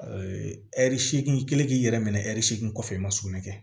ɛri seegin kelen k'i yɛrɛ minɛ ɛri segin kɔfɛ i ma sugunɛ kɛ